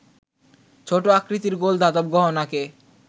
ছোট আকৃতির গোল ধাতব গহনাকে